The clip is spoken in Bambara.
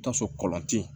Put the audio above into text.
Taa so kɔlɔnti